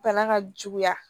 Bana ka juguya